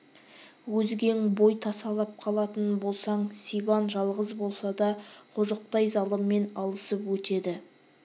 өзгең бой тасалап қалатын болсаң сибан жалғыз болса да қожықтай залыммен алысып өтеді